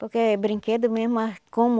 Porque brinquedo mesmo ah, como